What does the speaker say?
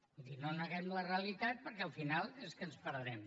vull dir no neguem la realitat perquè al final és que ens perdrem